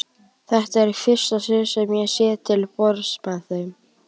Þetta er í fyrsta sinn sem ég sit til borðs með þeim.